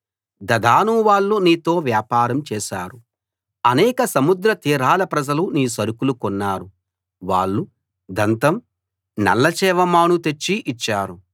దదాను వాళ్ళు నీతో వ్యాపారం చేశారు అనేక సముద్ర తీరాల ప్రజలు నీ సరుకులు కొన్నారు వాళ్ళు దంతం నల్లచేవ మాను తెచ్చి ఇచ్చారు